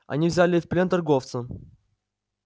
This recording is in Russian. они взяли в плен торговца